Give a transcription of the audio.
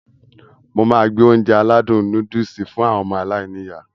Mo máá gbé Ounjẹ aládùn nóódùsì fún àwọn ọmọ aláiníyá